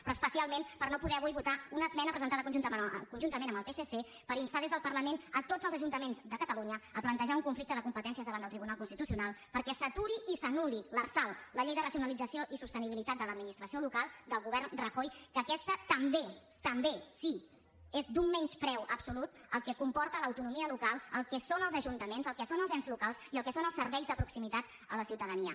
però especialment per no poder avui votar una esmena presentada conjuntament amb el psc per instar des del parlament tots els ajuntaments de catalunya a plantejar un conflicte de competències davant del tribunal constitucional perquè s’aturi i s’anulli l’arsal la llei de racionalització i sostenibilitat de l’administració local del govern rajoy que aquesta també també sí és d’un menyspreu absolut al que comporta l’autonomia local al que són els ajuntaments al que són els ens locals i al que són els serveis de proximitat a la ciutadania